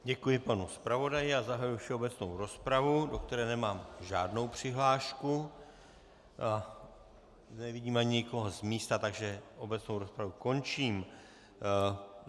Děkuji panu zpravodaji a zahajuji všeobecnou rozpravu, do které nemám žádnou přihlášku, nevidím ani nikoho z místa, takže obecnou rozpravu končím.